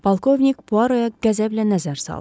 Polkovnik Puaro'ya qəzəblə nəzər saldı.